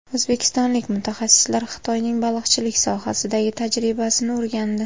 O‘zbekistonlik mutaxassislar Xitoyning baliqchilik sohasidagi tajribasini o‘rgandi.